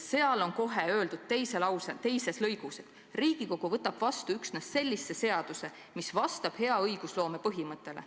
Selles dokumendis on kohe teises lõigus öeldud: "Riigikogu võtab vastu üksnes sellise seaduse, mis vastab hea õigusloome põhimõtetele.